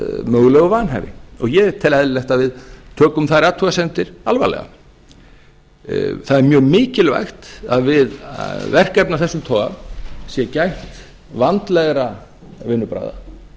mögulegu vanhæfi og ég tel eðlilegt að við tökum þær athugasemdir alvarlega það er mjög mikilvægt að við verkefni af þessum toga sé gætt vandleg vinnubragða